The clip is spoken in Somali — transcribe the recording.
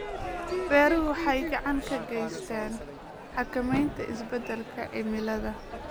Beeruhu waxay gacan ka geystaan ??xakamaynta isbeddelka cimilada.